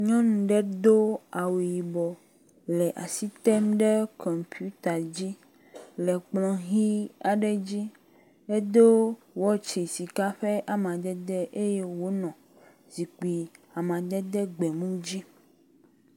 Nyɔnu ɖe do awu yibɔ le asi tem ɖe kɔmpita dzi le kplɔ ʋɛ̃ aɖe dzi. Edo wɔtsi sika ƒe amadede eye wònɔ zikpui amadede gbemu dzi.